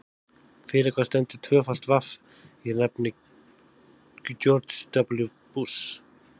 Fyrir hvað stendur tvöfalt vaff í nafni George W Bush?